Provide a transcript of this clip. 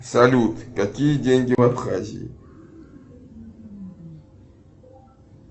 салют какие деньги в абхазии